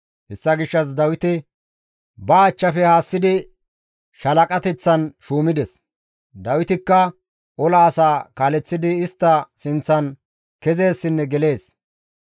Hessa gishshas Dawite ba achchafe haassidi shaalaqateththan shuumides. Dawitikka ola asaa kaaleththidi istta sinththan kezeessinne gelees.